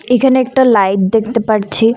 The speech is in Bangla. এখানে একটা লাইট দেখতে পারছি।